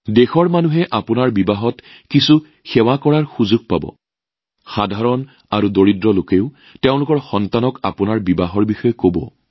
দেশৰ জনসাধাৰণে আপোনালোকৰ বিয়াত কোনোবা নহয় কোনোবাই সেৱা আগবঢ়োৱাৰ সুযোগ পাব দুখীয়া মানুহেও সেই অনুষ্ঠানৰ কথা নিজৰ সন্তানক কব